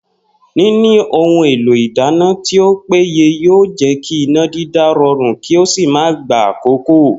Níní ohun èlò ìdáná tí ó péye yóò jé̩ kí iná dídá ro̩rùn kí ó sì má gba àkókò